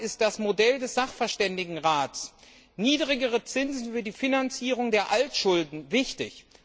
Deshalb ist das Modell des Sachverständigenrats, niedrigere Zinsen für die Finanzierung der Altschulden, wichtig.